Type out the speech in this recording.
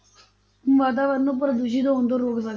ਵਾਤਾਵਰਨ ਨੂੰ ਪ੍ਰਦੂਸ਼ਿਤ ਹੋਣ ਤੋਂ ਰੋਕ ਸਕ~